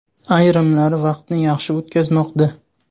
Ayrimlari vaqtni yaxshi o‘tkazmoqda.